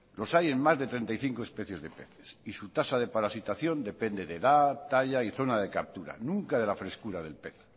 los hay en más de treinta y cinco especies de peces y su tasa de parasitación depende de edad talla y zona de captura nunca de la frescura del pez